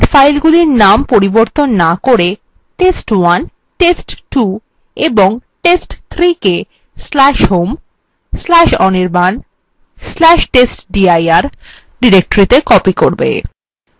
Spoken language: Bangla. এই কমান্ড filesগুলির named পরিবর্তন names করে test1 test2 এবং test3 কে/home/anirban/testdir ডিরেক্টরিত়ে copy করবে